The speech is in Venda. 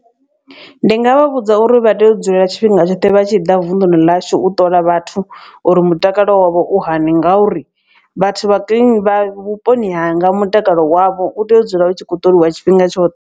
Ndi nga vha vhudza uri vha tea u dzulela tshifhinga tshoṱhe vha tshi ḓa vunḓuni ḽashu u ṱola vhathu uri mutakalo wavho u hani. Ngauri vhathu vha vhuponi hanga mutakalo wavho u tea u dzula u tshi kho u ṱoliwa tshifhinga tshoṱhe.